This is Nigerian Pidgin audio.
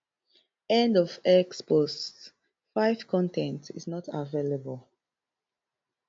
end of x post five con ten t is not available